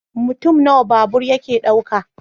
Mutum nawa babur yake dauka?